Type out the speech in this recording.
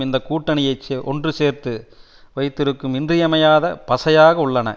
இந்த கூட்டணியை ஒன்று சேர்த்து வைத்திருக்கும் இன்றியமையாத பசையாக உள்ளன